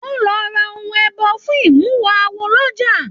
Wọn lọ rà ohùn ẹbọ fún imuwọ̀ awo l'ọja.